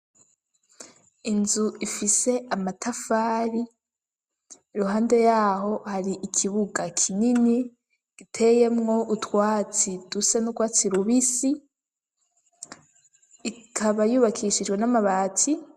Inzu ifise amatafari iruhande yaho hari ikibuga kinini giteyemwo utwatsi dusa n'urwatsi rubisi, ikaba yubakishijwe n'amabati.